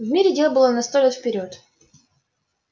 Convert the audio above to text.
в мире дел было на сто лет вперёд